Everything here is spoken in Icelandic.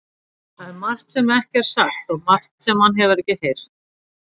Það er margt sem ekki er sagt og margt sem hann hefur ekki heyrt.